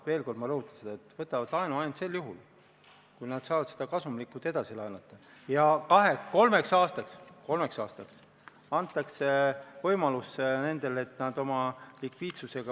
Hea Riigikogu aseesimees!